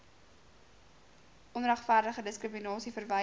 onregverdige diskriminasie verwyder